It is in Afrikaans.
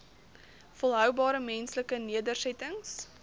volhoubare menslike nedersettings